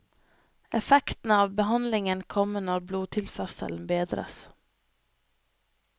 Effekten av behandlingen kommer når blodtilførselen bedres.